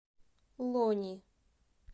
лони